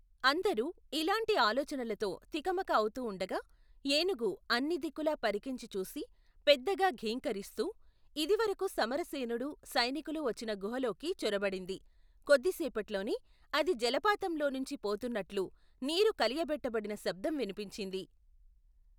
అందరూ, ఇలాంటి ఆలోచనలతో, తికమక అవుతూ ఉండగా, ఏనుగు, అన్నిదిక్కులా పరికించి చూసి, పెద్దగా ఘీంకరిస్తూ, యిది వరకు సమరసేనుడు, సైనికులు వచ్చిన గుహలోకి, చొరబడింది, కొద్దిసేపట్లోనే, అది జలపాతంలోనుంచి, పోతూన్నట్ల్లు, నీరు కలియబెట్టబడిన శబ్దం వినిపించింది.